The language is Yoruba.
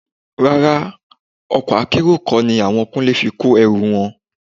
Rárá, ọkọ̀ Akẹ́rù kọ́ ni àwọn Kúnlé fi kó ẹrù wọn